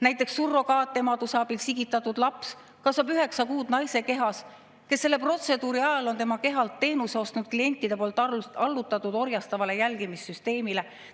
Näiteks surrogaatemaduse abil sigitatud laps kasvab üheksa kuud naise kehas, kes selle protseduuri ajal on tema kehalt teenuse ostnud klientide poolt allutatud orjastavale jälgimissüsteemile.